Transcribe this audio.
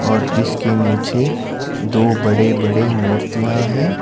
और जिसके नीचे दो बड़े बड़े मूर्तियां हैं।